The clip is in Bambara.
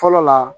Fɔlɔ la